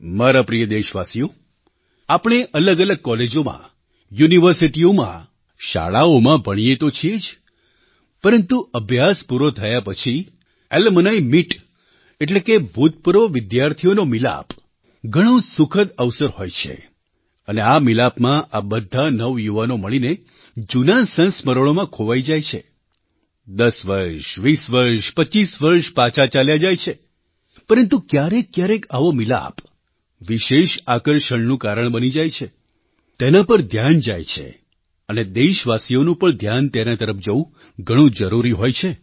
મારા પ્રિય દેશવાસીઓ આપણે અલગઅલગ કૉલેજોમાં યુનિવર્સિટીઓમાં શાળાઓમાં ભણીએ તો છીએ જ પરંતુ અભ્યાસ પૂરો થયા પછી એલ્યુમનિમિટ એટલે કે ભૂતપૂર્વ વિદ્યાર્થીઓનો મિલાપ ઘણો સુખદ અવસર હોય છે અને આ મિલાપમાં આ બધા નવયુવાનો મળીને જૂનાં સંસ્મરણોમાં ખોવાઈ જાય છે 10 વર્ષ 20 વર્ષ 25 વર્ષ પાછા ચાલ્યા જાય છે પરંતુ ક્યારેક ક્યારેક આવો મિલાપ વિશેષ આકર્ષણનું કારણ બની જાય છે તેના પર ધ્યાન જાય છે અને દેશવાસીઓનું પણ ધ્યાન તેના તરફ જવું ઘણું જરૂરી હોય છે